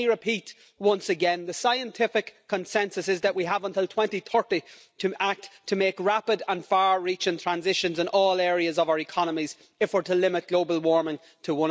So let me repeat once again the scientific consensus is that we have until 2030 to act to make rapid and far reaching transitions in all areas of our economies if we're to limit global warming to